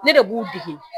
Ne de b'u dege